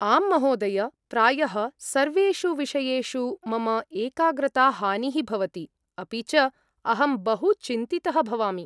आम् महोदय, प्रायः सर्वेषु विषयेषु मम एकाग्रताहानिः भवति, अपि च अहं बहु चिन्तितः भवामि।